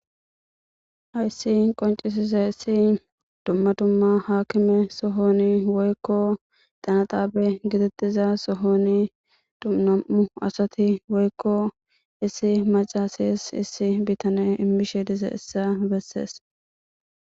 hayssi qoncisiza issi dumma dumma haakime sohoni woykko xanaxaabe gititiza sohoni dumam7u asati woykko issi macasis issi bitane immishe dize issa bessees